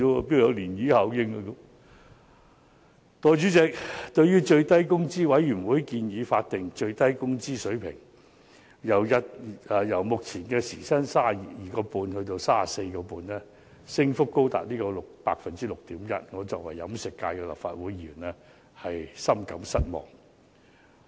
代理主席，對於最低工資委員會建議將法定最低工資水平由目前時薪 32.5 元增至 34.5 元，我作為飲食界的立法會議員深感失望。